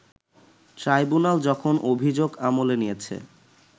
tribunal যখন অভিযোগ আমলে নিয়েছে